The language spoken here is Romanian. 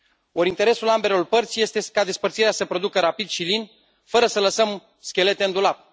Or, interesul ambelor părți este ca despărțirea să se producă rapid și lin, fără să lăsăm schelete în dulap.